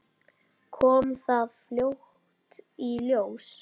Kom það fljótt í ljós?